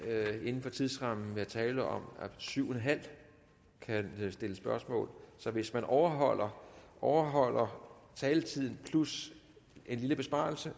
inden for tidsrammen være tale om at syv en halv kan stille spørgsmål så hvis man overholder overholder taletiden plus en lille besparelse